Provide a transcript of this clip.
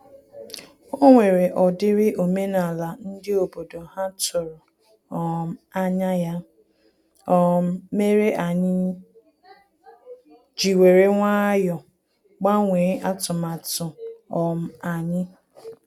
O nwere ọ dịrị omenala ndị obodo ha tụrụ um anya, ya um mere anyị ji were nwayọ gbanwee atụmatụ um anyị